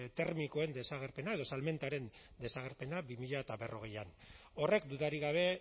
termikoen desagerpena edo salmentaren desagerpena bi mila berrogeian horrek dudarik gabe